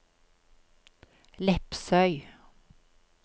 Lepsøy